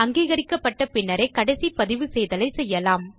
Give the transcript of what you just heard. அங்கீகரிக்கப்பட்ட பின்னரே கடைசி பதிவுசெய்தலைச் செய்யலாம்